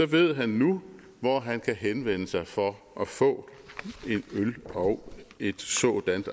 ved han nu hvor han kan henvende sig for at få en øl og et sådant